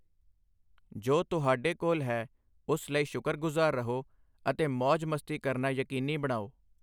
ਜੋ ਤੁਹਾਡੇ ਕੋਲ ਹੈ ਉਸ ਲਈ ਸ਼ੁਕਰਗੁਜ਼ਾਰ ਰਹੋ, ਅਤੇ ਮੌਜ ਮਸਤੀ ਕਰਨਾ ਯਕੀਨੀ ਬਣਾਓ।